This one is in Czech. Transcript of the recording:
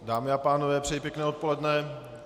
Dámy a pánové, přeji pěkné odpoledne.